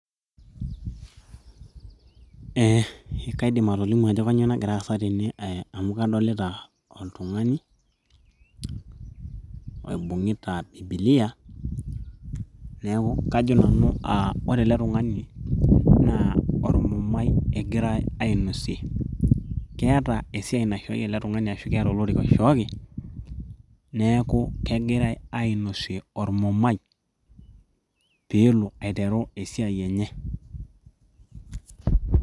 eh, kaidim atolimu ajo kanyio nagira aasa tene amu kadolita oltung'ani oibung'ita bibilia neeku kajo nanu uh, ore ele tung'ani naa ormumai egirae ainosie keeta esiai naishooki ele tung'ani ashu keeta olorika oishooki neeku kegirae ainosie ormumai peelo aiteru esiai enye.